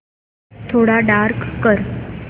थोडा डार्क कर